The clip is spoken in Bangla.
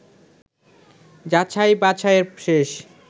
যাছাই-বাছাইয়ের শেষ